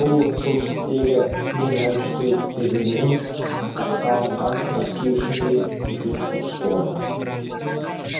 бұл солтүстігі мен оңтүстігінен қыспаққа алынған мәскеу үшін де үлкен ұтыс болатын